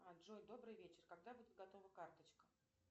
джой добрый вечер когда будет готова карточка